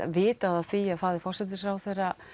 vitað af því að faðir forsætisráðherra